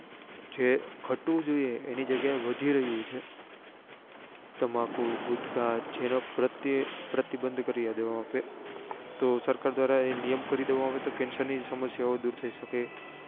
જે ગતવું જોઈએ એની જગ્યા એ વધી રહ્યું છે તમાકુ ગુટખા જેના પ્રત્યે પ્રતિબંધ કરી દઈએ આપડે તો સરકાર દ્વારા એ નિયમ કરી દેવા માં આવે તો cancer ની સમસ્યાઓ દુર થઇ સકે